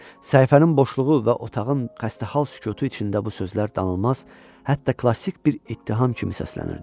Səhifənin boşluğu və otağın xəstəxal sükutu içində bu sözlər danılmaz, hətta klassik bir ittiham kimi səslənirdi.